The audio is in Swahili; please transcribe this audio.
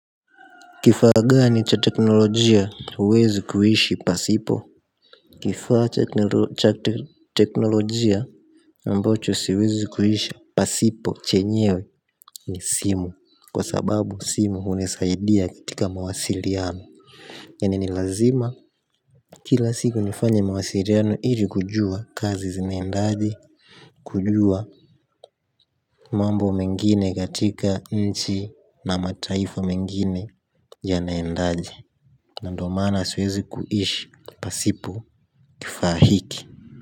Kifaa gani cha teknolojia huwezi kuhishi pasipo? Kifaa cha teknolojia ambacho siwezi kuishi pasipo chenyewe ni simu. Kwa sababu simu hunisaidia katika mawasiliano. Yaani ni lazima kila siku nifanye mawasiliano ili kujua kazi zinaendaje. Kujua mambo mengine katika nchi na mataifa mengine yanaendaje. Na ndo maana siwezi kuishi pasipo kifaa hiki.